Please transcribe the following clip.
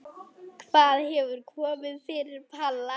Hvað hefur komið fyrir Palla?